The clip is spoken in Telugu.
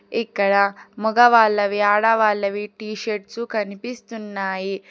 ఇక్కడ మొగవాళ్లవి ఆడవాళ్లవి టీ షర్ట్సు కనిపిస్తున్నాయి.